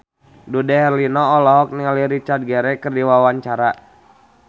Dude Herlino olohok ningali Richard Gere keur diwawancara